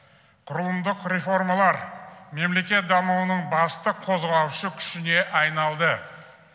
құрылымдық реформалар мемлекет дамуының басты қозғаушы күшіне айналды